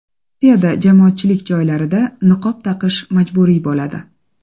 Rossiyada jamoatchilik joylarida niqob taqish majburiy bo‘ladi.